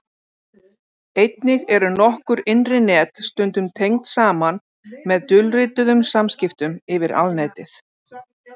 Einnig eru nokkur innri net stundum tengd saman með dulrituðum samskiptum yfir Alnetið.